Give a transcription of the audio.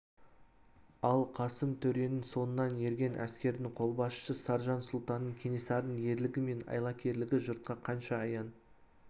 ал қасым төренің соңынан ерген әскердің қолбасшысы саржан сұлтан кенесарының ерлігі мен айлакерлігі жұртқа қанша аян